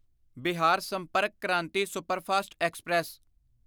Bihar Sampark Kranti superfast express